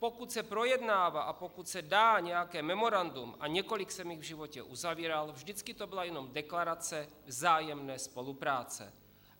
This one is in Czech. Pokud se projednává a pokud se dá nějaké memorandum, a několik jsem jich v životě uzavíral, vždycky to byla jenom deklarace vzájemné spolupráce.